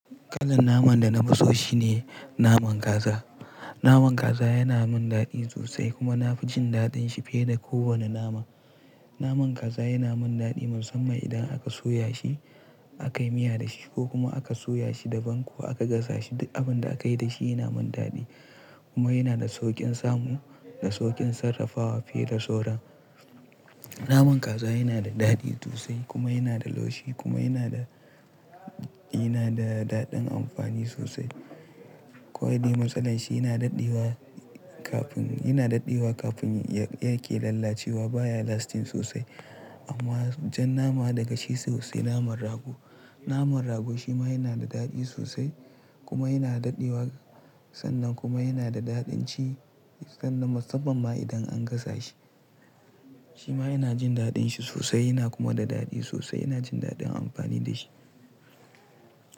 Kalar naman da na fi so shine naman kaza. Naman kaza yana min daɗi sosai kuma na fi jin daɗin shi fiye da kowane nama. Naman kaza yana min daɗi musamman idan aka soya shi, aka yi miya da shi ko kuma aka soya shi da ban ko aka gasa shi. Abin da aka yi da shi yana min daɗi kuma yana da sauƙin samu da sauƙin sarrafawa fiye da sauran. Naman kaza yana da daɗi sosai kuma yana da laushi kuma yana da, yana da daɗin amfani sosai. Kwai dai matsalar shi yana daɗe wa kafin, yana daɗe wa kafin yake lalacewa. Ba ya lasting sosai amma jan nama daga shi sosai naman rago. Naman rago shi ma yana da daɗi sosai kuma yana daɗe wa sannan kuma yana da daɗin ci sannan musamman ma idan an gasa shi. Shi ma ina jin daɗin shi sosai yana kuma da daɗi sosai. Ina jin daɗin amfani da shi.